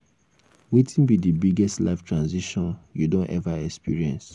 wetin be di biggest life transition you don ever experience?